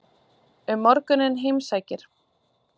Um morguninn heimsækir